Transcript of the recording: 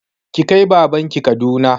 Ki kai baban ki Kaduna!